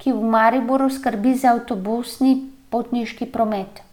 ki v Mariboru skrbi za avtobusni potniški promet.